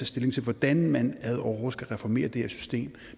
stilling til hvordan man ad åre skal reformere det her system